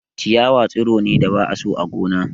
Ciyawa tsiro ne da ba a so a gona.